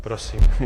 Prosím.